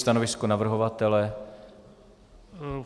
Stanovisko navrhovatele?